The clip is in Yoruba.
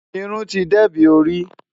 Irún ti dẹbí orí.